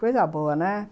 Coisa boa, né?